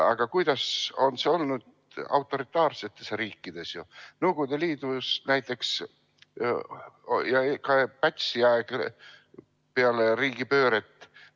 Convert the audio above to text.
Aga kuidas on see olnud autoritaarsetes riikides, näiteks Nõukogude Liidus ja Pätsi ajal peale riigipööret?